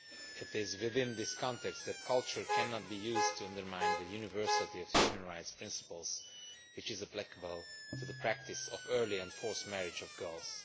It is within this context that culture cannot be used to undermine the universality of the human rights principles, which are applicable to the practice of early and forced marriage of girls.